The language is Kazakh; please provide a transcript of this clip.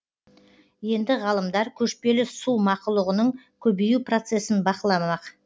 енді ғалымдар көшпелі су мақұлығының көбею процесін бақыламақ